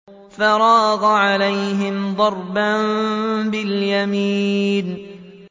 فَرَاغَ عَلَيْهِمْ ضَرْبًا بِالْيَمِينِ